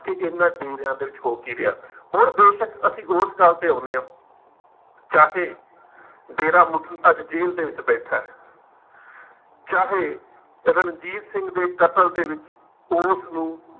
ਕਿ ਇਹਨਾਂ ਡੇਰਿਆਂ ਦੇ ਵਿੱਚ ਹੋ ਕੀ ਰਿਹਾ। ਹੁਣ ਬੇਸ਼ੱਕ ਅਸੀਂ ਉਸ ਗੱਲ ਤੇ ਆਉਂਦੇ ਹਾਂ ਚਾਹੇ, ਡੇਰਾਮੁਖੀ ਅੱਜ ਜੇਲ੍ਹ ਦੇ ਵਿੱਚ ਬੈਠਾ ਹੈ ਚਾਹੇ ਰਣਜੀਤ ਸਿੰਘ ਦੇ ਕਤਲ ਦੇ ਵਿੱਚ ਉਸ ਨੂੰ